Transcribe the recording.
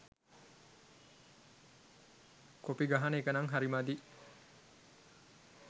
Copy ගහන එකනං හරි මදි.